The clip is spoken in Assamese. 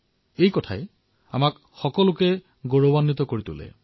সঁচাকৈয়ে আমাৰ সকলোৰে বাবে এয়া গৌৰৱৰ কথা